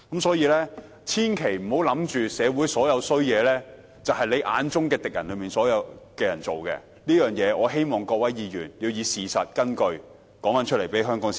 所以，千萬不要以為社會上所有壞事均是自己眼中的敵人所做的，我希望各位議員要以事實作為根據，並如實告知香港市民。